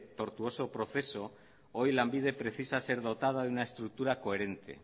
tortuoso proceso hoy lanbide precisa ser dotada de una estructura coherente